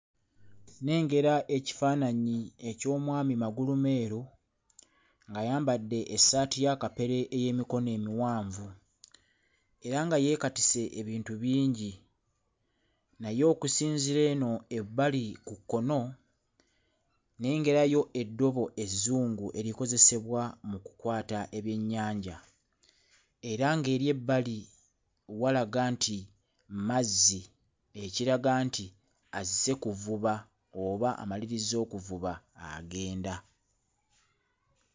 Nnengera ekifaananyi eky'omwami magulumeeru ng'ayambadde essaati ya kapere ey'emikono emiwanvu era nga yeekatise ebintu bingi naye okusinziira eno ebbali ku kkono, nnengerayo eddobo ezzungu erikozesebwa mu kukwata ebyennyanja era ng'eri ebbali walaga nti mazzi, ekiraga nti azze kuvuba oba amalirizza okuvuba agenda.